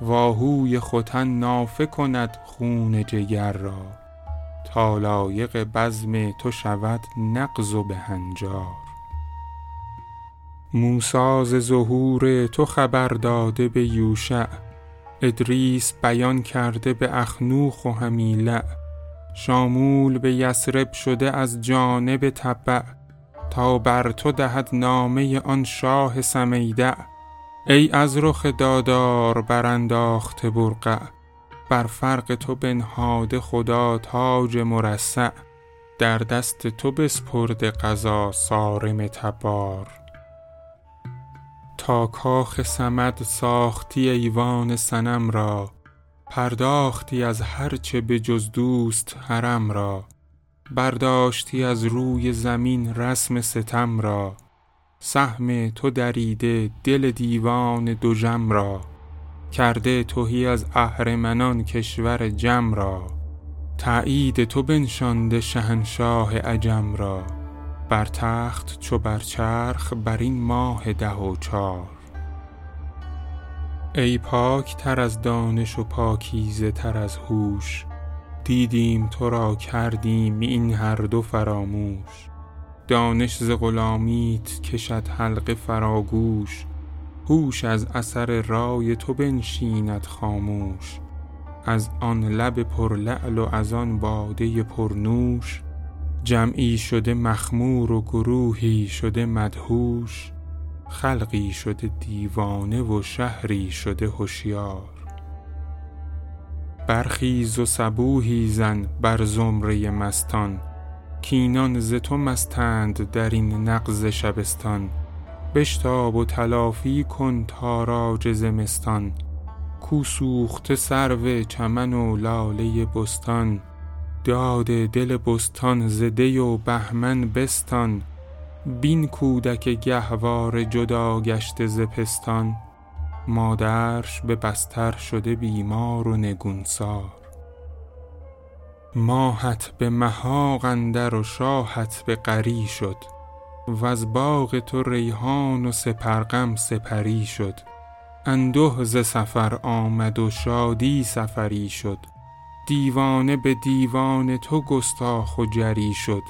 و آهوی ختن نافه کند خون جگر را تا لایق بزم تو شود نغز و بهنجار موسی ز ظهور تو خبر داده به یوشع ادریس بیان کرده به اخنوخ و همیلع شامول به یثرب شده از جانب تبع تا بر تو دهد نامه آن شاه سمیدع ای از رخ دادار برانداخته برقع بر فرق تو بنهاده خدا تاج مرصع در دست تو بسپرده قضا صارم تبار تا کاخ صمد ساختی ایوان صنم را پرداختی از هر چه به جز دوست حرم را برداشتی از روی زمین رسم ستم را سهم تو دریده دل دیوان دژم را کرده تهی از اهرمنان کشور جم را تایید تو بنشانده شهنشاه عجم را بر تخت چو بر چرخ برین ماه ده و چار ای پاک تر از دانش و پاکیزه تر از هوش دیدیم ترا کردیم این هر دو فراموش دانش ز غلامیت کشد حلقه فراگوش هوش از اثر رای تو بنشیند خاموش از آن لب پرلعل و از آن باده پرنوش جمعی شده مخمور و گروهی شده مدهوش خلقی شده دیوانه و شهری شده هشیار برخیز و صبوحی زن بر زمره مستان کاینان ز تو مستند در این نغز شبستان بشتاب و تلافی کن تاراج زمستان کو سوخته سرو چمن و لاله بستان داد دل بستان ز دی و بهمن بستان بین کودک گهواره جداگشته ز پستان مادرش به بستر شده بیمار و نگونسار ماهت به محاق اندر و شاهت به غری شد وز باغ تو ریحان و سپرغم سپری شد انده ز سفر آمد و شادی سفری شد دیوانه به دیوان تو گستاخ و جری شد